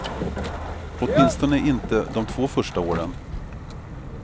Åtminstone inte de två första åren.